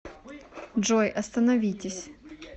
джой остановитесь